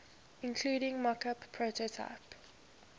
including mockup prototype